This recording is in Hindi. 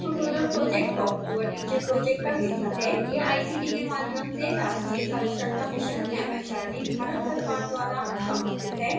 spoken tutorial project talk to a teacher project का हिस्सा है यह आईसीटी के माध्यम से राष्ट्रीय साक्षरता मिशन एमएचआरडी भारत सरकार द्वारा समर्थित है